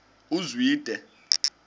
uzwide